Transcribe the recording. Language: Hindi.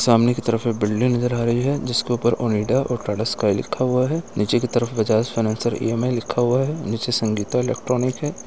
सामने की तरफ ये बिल्डिंग नज़र आ रही है। जिसके ऊपर ओनिडा और टाटा स्काइ लिखा हुआ है। नीचे की तरफ बजाज फाइनेंसर ई.एम.आई लिखा हुआ है। नीचे संगीता इलेक्ट्रॉनिक है।